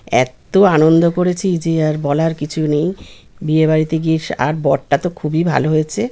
এত্ত আনন্দ করেছি যে আর বলার কিছু নেই বিয়ে বাড়িতে গিয়ে স আর বরটা তো খুবই ভালো হয়েছে।